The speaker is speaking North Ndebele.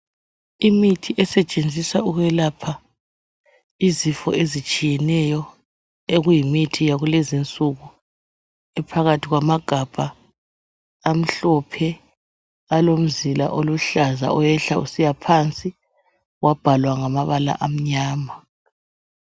Imithi esetshenziswa ukwelapha izifo ezitshiyeneyo okuyimithi yakulezi nsuku. Iphakathi kwamagabha amhlophe alomzila oluhlaza oyehla usiya phansi wabhalwa ngamabala amnyama